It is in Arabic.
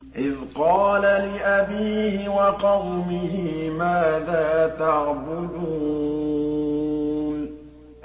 إِذْ قَالَ لِأَبِيهِ وَقَوْمِهِ مَاذَا تَعْبُدُونَ